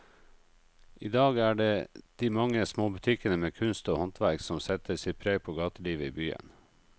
I dag er det de mange små butikkene med kunst og håndverk som setter sitt preg på gatelivet i byen.